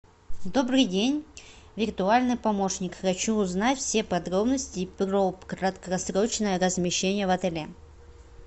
добрый день виртуальный помощник хочу узнать все подробности про краткосрочное размещение в отеле